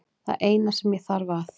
Það eina sem ég þarf að